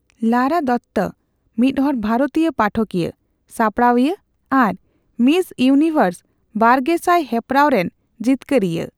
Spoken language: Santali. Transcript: ᱞᱟᱨᱟ ᱫᱚᱛᱛᱚ ᱢᱤᱫᱦᱚᱲ ᱵᱷᱟᱨᱚᱛᱤᱭᱟᱹ ᱯᱟᱴᱷᱚᱠᱤᱭᱟ, ᱥᱟᱯᱲᱟᱣᱤᱭᱟᱹ ᱟᱨ ᱢᱤᱥ ᱤᱭᱱᱤᱵᱷᱟᱨ ᱵᱟᱨᱜᱮᱥᱟᱭ ᱦᱮᱯᱨᱟᱣᱨᱮᱱ ᱡᱤᱛᱠᱟᱹᱨᱤᱭᱟᱹ ᱾